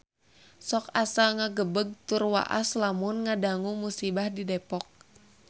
Sok asa ngagebeg tur waas lamun ngadangu musibah di Depok